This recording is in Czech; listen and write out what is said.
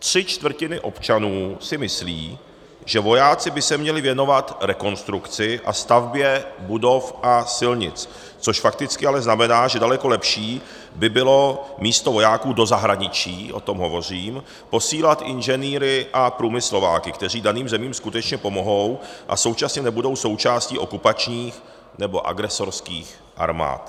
Tři čtvrtiny občanů si myslí, že vojáci by se měli věnovat rekonstrukci a stavbě budov a silnic, což fakticky ale znamená, že daleko lepší by bylo místo vojáků do zahraničí - o tom hovořím - posílat inženýry a průmyslováky, kteří daným zemím skutečně pomohou a současně nebudou součástí okupačních nebo agresorských armád.